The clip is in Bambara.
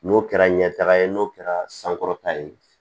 N'o kɛra ɲɛtaga ye n'o kɛra sankɔrɔta ye